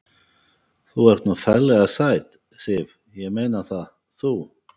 Þú ert nú ferlega sæt, Sif. ég meina það. þú.